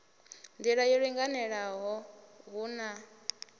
nḓila yo linganelaho hu na